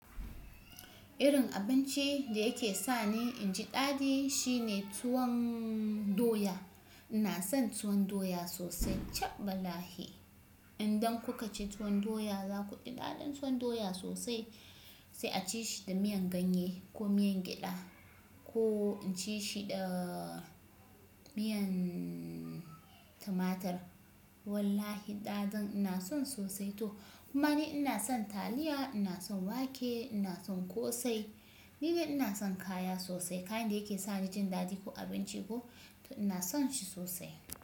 Irin abinci da yake sa ni inji daɗi shine tuwon doya. Ina son tuwon doya sosai. Chabbah laahi. Idan kuka ci tuwon doya za ku ji daɗin tuwon doya sosai sai a ci shi da miyan ganye ko miyan gyada ko ci shi da miyan tumatur. Wallahi daɗin ina son sosai to. Kuma ni ina son taliya, ina son wake, ina son ƙosai. Nidai ina son kaya sosai. Kayan da yake sa ni jin daɗi ko abinci ko ina son shi sosai.